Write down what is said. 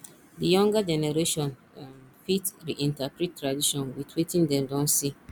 di younger generation um fit reinterprete tradition with wetin dem don see